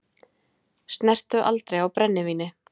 Snertu aldrei á brennivíni!